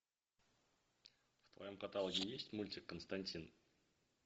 в твоем каталоге есть мультик константин